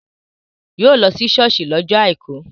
Yóò lọ sí ṣọ́ọ̀ṣì lọ́jọ́ àìkú